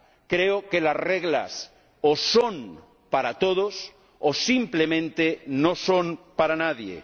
Creo que las reglas o son para todos, o simplemente no son para nadie.